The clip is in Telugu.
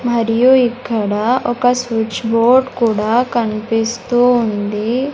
మరియు ఇక్కడ ఒక స్విచ్ బోర్డ్ కూడా కన్పిస్తూ ఉంది.